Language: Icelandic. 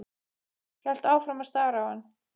Hélt áfram að stara á hann.